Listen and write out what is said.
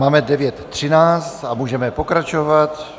Máme 9.13 a můžeme pokračovat.